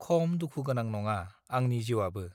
खम दुखु गोनां नङा आन जिवआबो